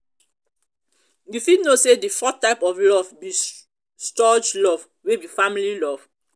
you fit know say di fourth type of love be storge love wey be family love.